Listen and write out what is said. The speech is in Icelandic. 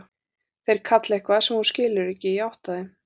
Þeir kalla eitthvað sem hún skilur ekki, í átt að þeim.